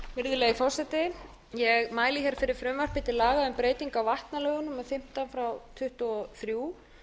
virðulegi forseti ég mæli hér fyrir frumvarpi til laga um breytingu á vatnalögum númer fimmtán nítján hundruð tuttugu og þrjú